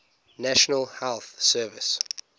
national health service